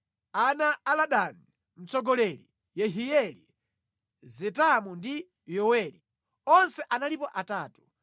Ana a Ladani: Mtsogoleri Yehieli, Zetamu ndi Yoweli. Onse analipo atatu.